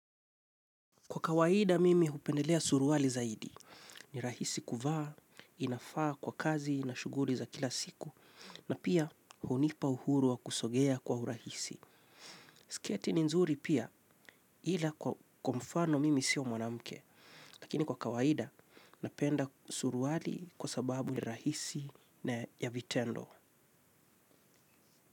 Kwa kawaida mimi hupendelea suruwali zaidi, ni rahisi kuvaa, inafaa kwa kazi na shughuli za kila siku, na pia hunipa uhuru wa kusogea kwa urahisi. Sketi ni nzuri pia ila kwa kwa mfano mimi sio mwanamke, lakini kwa kawaida napenda suruwali kwa sababu ni rahisi na ya vitendo.